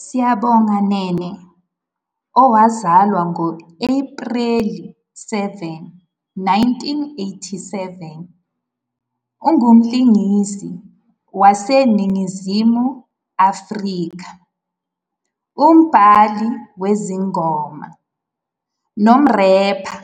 USiyabonga Nene, owazalwa ngo-Ephreli 7, 1987, ungumlingisi waseNingizimu Afrika, umbhali wezingoma, nomrepha.